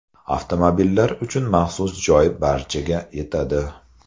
Avtomobillar uchun maxsus joy barchaga yetadi!